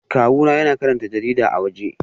Kawuna yana karanta jarida a waje